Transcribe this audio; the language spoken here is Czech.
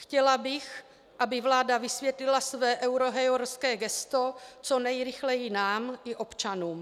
Chtěla bych, aby vláda vysvětlila své eurohujerské heslo co nejrychleji nám i občanům.